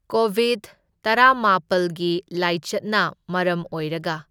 ꯀꯣꯕꯤꯚ ꯇꯔꯥꯃꯥꯄꯜꯒꯤ ꯂꯥꯏꯆꯠꯅ ꯃꯔꯝ ꯑꯣꯏꯔꯒ꯫